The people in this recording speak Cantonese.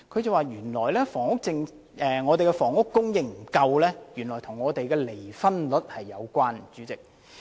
代理主席，王教授說香港房屋供應不足，原來與離婚率有關。